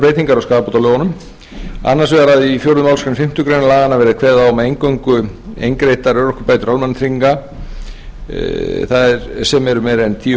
í fjórðu málsgrein fimm greinar laganna verði kveðið á um að eingöngu eingreiddar örorkubætur almannatrygginga það er sem eru meira en tíu